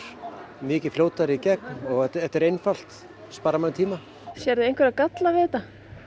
mikið fljótari í gegn og þetta er einfalt sparar manni tíma sérðu einhverja galla við þetta